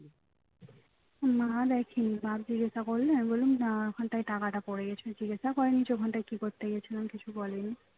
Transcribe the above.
মা দেখেনি বাপ জিজ্ঞাসা করলে আমি বললাম না ওখানটায় পড়ে গেছে জিজ্ঞাসা করে নি যে ওখানটায় কি করতে গেছিলাম কিছু বলে নি